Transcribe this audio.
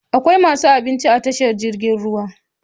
Akwai masu abinci a tashar jirgin ruwa?